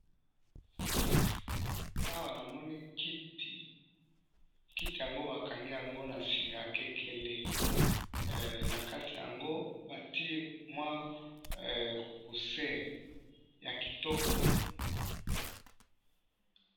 Awa na moni kiti bakangi na singa ya kekele, nakati yango bati mwa cousin ya kitoko